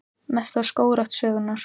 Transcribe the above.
Mesta skógrækt sögunnar